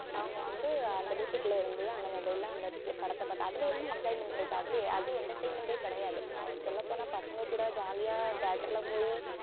அவங்க வந்து அந்த வீட்டுக்குள்ள இருந்தே அந்த mobile ல அந்த தி~ படத்தை பார்த்து அதுல என்ன enjoyment இருக்கு அதிலேயே அது entertainment ஏ கிடையாது சொல்லப் போனா பசங்க கூட jolly ஆ theatre ல போயி